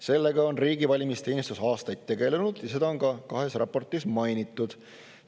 Sellega on riigi valimisteenistus aastaid tegelenud ja seda on ka kahes raportis mainitud.